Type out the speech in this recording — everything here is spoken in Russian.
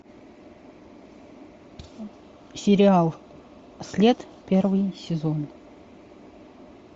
сериал след первый сезон